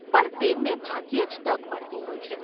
પણ તેમને ભાગ્યે જ તક મળતી હોય છે.